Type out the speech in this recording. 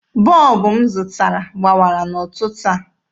Bọlbụ m zụtara gbawara n'ụtụtụ a.